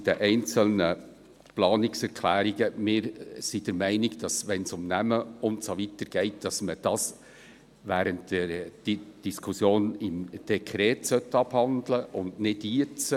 Zu den einzelnen Planungserklärungen: Wenn es um Namen und so weiter geht, sind wir der Meinung, dass man dies während der Diskussion zum Dekret abhandeln sollte, nicht jetzt.